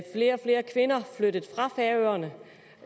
flere og flere kvinder flyttede fra færøerne